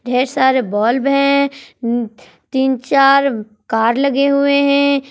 ढेर सारे बल्ब हैं तीन चार कर लगे हुए हैं।